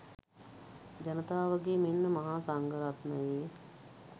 ජනතාවගේ මෙන්ම මහා සංඝරත්නයේ